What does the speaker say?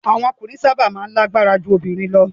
Awon okunrin saba maa n lagbara ju obirin lo